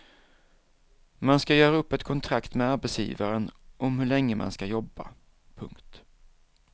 Man ska göra upp ett kontrakt med arbetsgivaren om hur länge man ska jobba. punkt